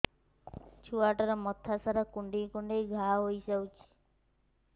ଛୁଆଟାର ମଥା ସାରା କୁଂଡେଇ କୁଂଡେଇ ଘାଆ ହୋଇ ଯାଇଛି